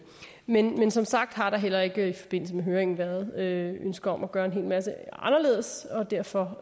men som sagt har der heller ikke i forbindelse med høringen været ønsker om at gøre en hel masse anderledes og derfor